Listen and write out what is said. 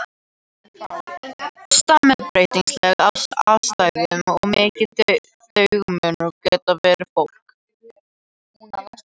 Stam er breytilegt eftir aðstæðum og mikill dagamunur getur verið á fólki.